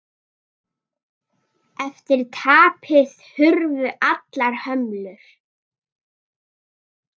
Eftir tapið hurfu allar hömlur.